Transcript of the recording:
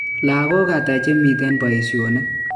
lagok ata chemiten paishonik?